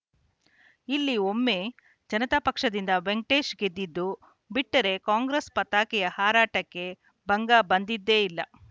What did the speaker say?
ಇಲ್ಲಿ ಒಮ್ಮೆ ಜನತಾ ಪಕ್ಷದಿಂದ ವೆಂಕಟೇಶ್‌ ಗೆದ್ದಿದ್ದು ಬಿಟ್ಟರೆ ಕಾಂಗ್ರೆಸ್‌ ಪತಾಕೆಯ ಹಾರಾಟಕ್ಕೆ ಭಂಗ ಬಂದಿದ್ದೇ ಇಲ್ಲ